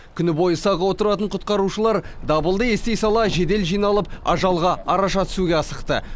күні бойы сақ отыратын құтқарушылар дабылды ести сала жедел жиналып ажалға араша түсуге асықты